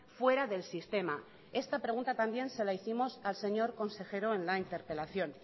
fuera del sistema esta pregunta también se la hicimos al señor consejero en la interpelación